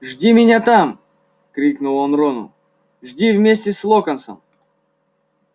жди меня там крикнул он рону жди вместе с локонсом